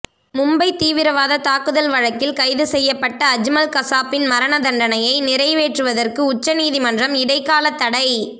மும்பை தீவிரவாத தாக்குதல் வழக்கில் கைது செய்யப்பட்ட அஜ்மல் கசாபின் மரண தண்டனையை நிறைவேற்றுவதற்கு உச்ச நீதிமன்றம் இடைக்காலத்தடை